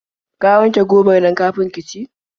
Ka wanke gobar nan kafin ki ci.